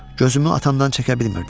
Gözümü atamdan çəkə bilmirdim.